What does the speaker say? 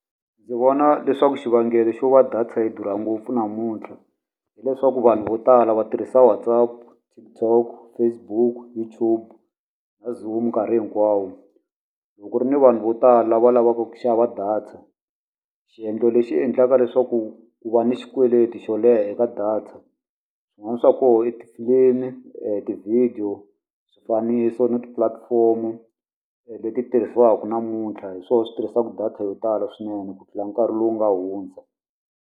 Ndzi vona leswaku xivangelo xo va data yi durha ngopfu namuntlha, hileswaku vanhu vo tala va tirhisa WhatsApp, TikTok, Facebook, YouTube na Zoom nkarhi hinkwawo. Loko ku ri ni vanhu vo tala va lavaka ku xava data, xiendlo lexi endlaka leswaku ku va ni xikweleti xo leha eka data. Xin'wana xa kona i tifilimi, tivhidiyo, swifaniso na ti-platform-o leti tirhisiwaka namuntlha. Hi swona swi tirhisaka data yo tala swinene, ku tlula nkarhi lowu nga hundza.